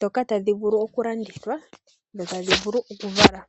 dhoka tadhi vulu okulandithwa nokuvala.